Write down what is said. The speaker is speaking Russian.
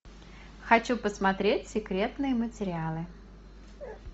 хочу посмотреть секретные материалы